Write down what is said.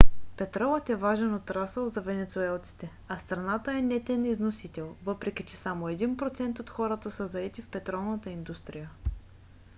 петролът е важен отрасъл за венецуелците а страната е нетен износител въпреки че само един процент от хората са заети в петролната индустрия